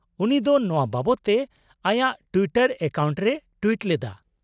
-ᱩᱱᱤ ᱫᱚ ᱱᱚᱶᱟ ᱵᱟᱵᱚᱫ ᱛᱮ ᱟᱭᱟᱜ ᱴᱩᱭᱤᱴᱟᱨ ᱮᱠᱟᱣᱩᱱᱴ ᱨᱮᱭ ᱴᱩᱭᱤᱴ ᱞᱮᱫᱟ ᱾